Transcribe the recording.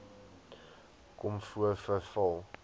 kom voor veral